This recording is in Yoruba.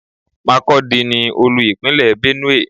Makurdi ni Olú-Ìpínlẹ̀ Benue.